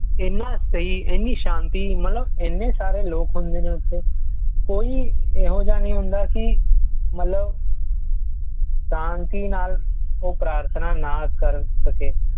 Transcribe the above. ਏਨਾ ਸਹੀ ਏਨੀ ਸਾਂਤੀ ਮਤਲਬ ਇੰਨੇ ਸਾਰੇ ਲੋਕ ਹੁੰਦੇ ਨੇ ਉੱਥੇ ਕੋਈ ਐਹੋ ਜਿਹਾ ਨਹੀਂ ਹੁੰਦਾ ਕੀ ਮਤਲਬ ਸ਼ਾਂਤੀ ਨਾਲ ਪ੍ਰਾਰਥਨਾ ਉਹ ਨਾ ਕਰ ਸਕੇ